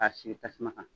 K'a sigi tasuma kan